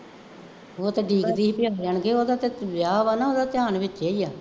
ਉਹ ਤਾਂ ਉਡੀਕਦੀ ਸੀ ਉਹਦਾ ਤਾਂ ਵਿਆਹ ਵਾ ਨਾ, ਉਹਦਾ ਧਿਆਨ ਵਿੱਚੇ ਹੀ ਹੈ